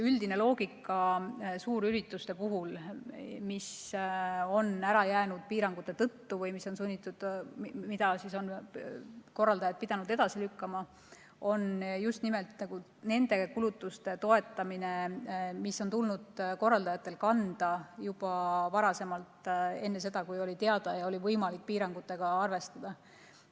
Üldine loogika suurürituste puhul, mis on piirangute tõttu ära jäänud või mida korraldajad on pidanud edasi lükkama, on just nimelt selliste kulutuste toetamine, mida on tulnud korraldajatel kanda juba varem, enne seda, kui piirangud olid teada ja oli võimalik nendega arvestada.